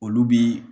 Olu bi